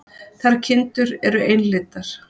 Þær kindur eru einlitar.